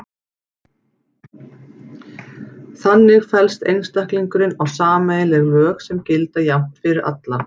Þannig fellst einstaklingurinn á sameiginleg lög sem gilda jafnt fyrir alla.